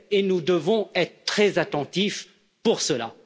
Et nous devons être très attentifs pour cela.